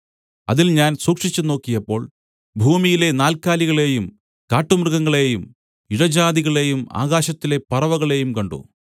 അതിൽ ഞാൻ സൂക്ഷിച്ചുനോക്കിയപ്പോൾ ഭൂമിയിലെ നാൽക്കാലികളെയും കാട്ടുമൃഗങ്ങളെയും ഇഴജാതികളെയും ആകാശത്തിലെ പറവകളെയും കണ്ട്